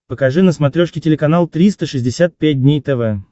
покажи на смотрешке телеканал триста шестьдесят пять дней тв